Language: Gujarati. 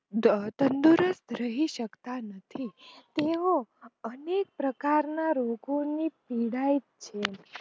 તદુરસ્ત રહી સકતા નથી તેઓ અનેક પ્રકાર ના રોગો થી પીડાઈ છે.